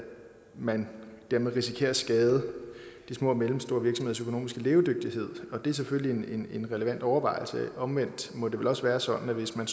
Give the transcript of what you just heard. man dermed risikerer at skade de små og mellemstore virksomheders økonomiske levedygtighed er selvfølgelig en en relevant overvejelse omvendt må det vel også være sådan at hvis man